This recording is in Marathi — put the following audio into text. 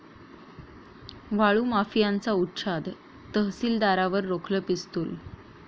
वाळू माफियांचा उच्छाद, तहसीलदारावर रोखलं पिस्तुल